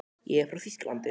Ég er frá Þýskalandi.